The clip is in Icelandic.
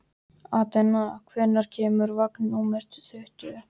Atena, hvenær kemur vagn númer tuttugu?